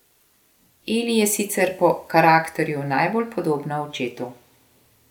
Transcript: Eli je sicer po karakterju najbolj podobna očetu.